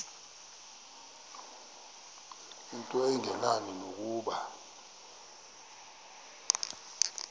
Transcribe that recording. into engenani nokuba